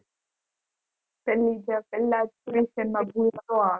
તેનીજ પેલા